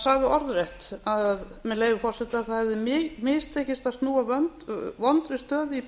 sagði orðrétt með leyfi forseta að það hefði mistekist að snúa vondri stöðu í